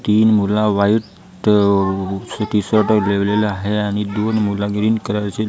तीन मुलं white t shirt लिवलेलं आहे आणि दोन मुल ग्रीन कलरची --